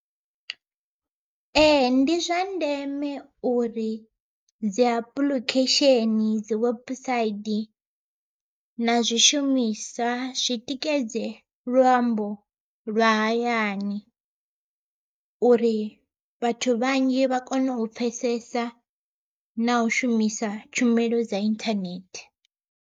Ee ndi zwa ndeme uri dzi apuḽikhesheni dzi webusaidi na zwishumiswa zwitikedze luambo lwa hayani. Uri vhathu vhanzhi vha kone u pfhesesa na u shumisa tshumelo dza inthanethe.